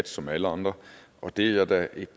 som alle andre og det er jeg da